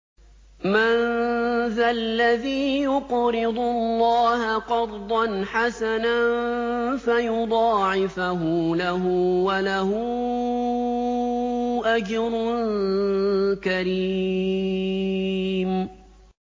مَّن ذَا الَّذِي يُقْرِضُ اللَّهَ قَرْضًا حَسَنًا فَيُضَاعِفَهُ لَهُ وَلَهُ أَجْرٌ كَرِيمٌ